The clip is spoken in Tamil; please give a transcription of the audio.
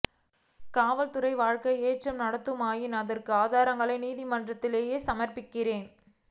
காவல் துறை வழக்கை ஏற்று நடத்துமாயின் அதற்கான ஆதாரங்களை நீதிமன்றத்திலேயே சமர்ப்பிக்கிறேன்